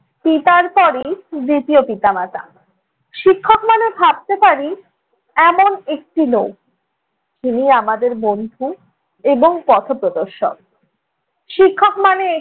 পিতার পরেই দ্বিতীয় পিতা-মাতা। শিক্ষক মানে ভাবতে পারি এমন একটি লোক, যিনি আমাদের বন্ধু এবং পথ প্রদর্শক। শিক্ষক মানে